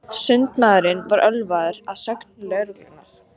Sundmaðurinn var ölvaður að sögn lögreglunnar